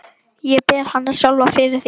Ég ber hana sjálfa fyrir því.